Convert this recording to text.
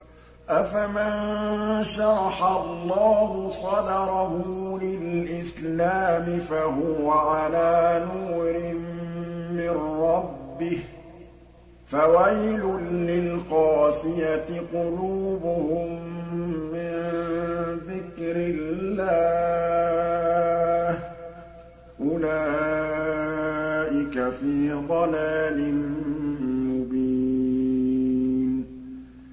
أَفَمَن شَرَحَ اللَّهُ صَدْرَهُ لِلْإِسْلَامِ فَهُوَ عَلَىٰ نُورٍ مِّن رَّبِّهِ ۚ فَوَيْلٌ لِّلْقَاسِيَةِ قُلُوبُهُم مِّن ذِكْرِ اللَّهِ ۚ أُولَٰئِكَ فِي ضَلَالٍ مُّبِينٍ